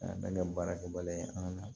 A bɛ baara kɛ baliya ye an ka na